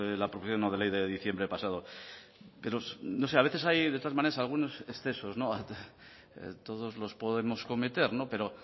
la proposición no de ley de diciembre pasado pero no sé a veces hay de todas maneras algunos excesos todos los podemos cometer pero